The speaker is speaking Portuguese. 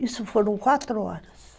Isso foram quatro horas.